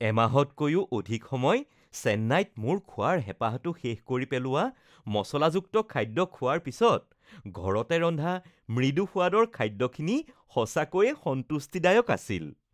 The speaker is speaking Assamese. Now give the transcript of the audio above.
এমাহতকৈও অধিক সময় চেন্নাইত, মোৰ খোৱাৰ হেপাঁহটো শেষ কৰি পেলোৱা মচলাযুক্ত খাদ্য খোৱাৰ পাছত, ঘৰতে ৰন্ধা মৃদু সোৱাদৰ খাদ্যখিনি সঁচাকৈয়ে সন্তুষ্টিদায়ক আছিল।